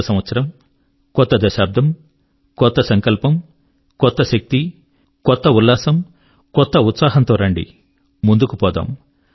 కొత్త సంవత్సరం కొత్త దశాబ్దం కొత్త సంకల్పం కొత్త శక్తి కొత్త ఉల్లాసం కొత్త ఉత్సాహం తో రండి ముందుకు పోదాం